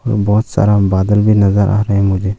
बहोत सारा बादल भी नजर आ रहे हैं मुझे।